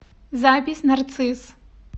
запись нарцисс